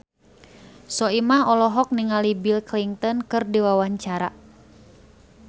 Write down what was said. Soimah olohok ningali Bill Clinton keur diwawancara